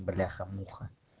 бляха-муха